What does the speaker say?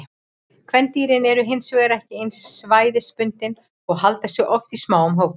Kvendýrin eru hin vegar ekki eins svæðisbundin og halda sig oft í smáum hópum.